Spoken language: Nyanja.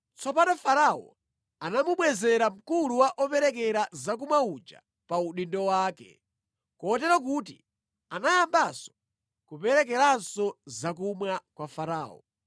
Tsono Farao anamubwezera mkulu wa operekera zakumwa uja pa udindo wake, kotero kuti anayamba kuperekeranso zakumwa kwa Farao,